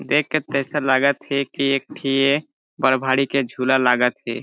देख के त ऐसा लगत हे की एक ठी बड़ भारी के झूला लागत हे।